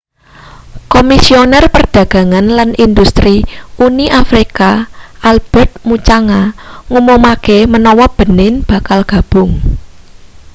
komisioner perdagangan lan industri uni afrika albertrt muchanga ngumumake menawa benin bakal gabung